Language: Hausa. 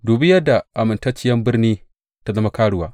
Dubi yadda amintacciyar birni ta zama karuwa!